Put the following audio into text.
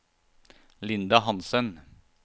Linda Hanssen